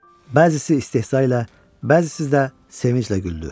Bəzisi istehza ilə, bəzisi də sevinclə güldü.